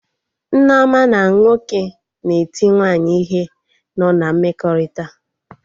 Nneoma na nwoke na-eti nwaanyị ihe nọ na mmekọrịta